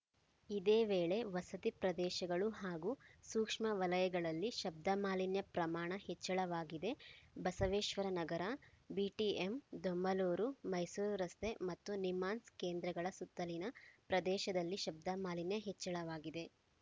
ಇದೇ ವೇಳೆ ವಸತಿ ಪ್ರದೇಶಗಳು ಹಾಗೂ ಸೂಕ್ಷ್ಮ ವಲಯಗಳಲ್ಲಿ ಶಬ್ದಮಾಲಿನ್ಯ ಪ್ರಮಾಣ ಹೆಚ್ಚಳವಾಗಿದೆ ಬಸವೇಶ್ವರನಗರ ಬಿಟಿಎಂ ದೊಮ್ಮಲೂರು ಮೈಸೂರು ರಸ್ತೆ ಮತ್ತು ನಿಮ್ಹಾನ್ಸ್‌ ಕೇಂದ್ರಗಳ ಸುತ್ತಲಿನ ಪ್ರದೇಶದಲ್ಲಿ ಶಬ್ದ ಮಾಲಿನ್ಯ ಹೆಚ್ಚಳವಾಗಿದೆ